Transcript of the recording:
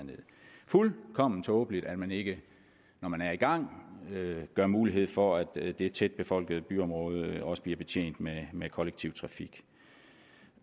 fuldkommen tåbeligt at man ikke når man er i gang giver mulighed for at det tætbefolkede byområde også bliver betjent med med kollektiv trafik